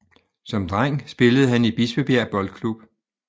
Som dreng spillede han i Bispebjerg Boldklub